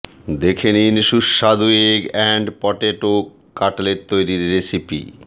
দেখে নিন সুস্বাদু এগ অ্যান্ড পটেটো কাটলেট তৈরির রেসিপি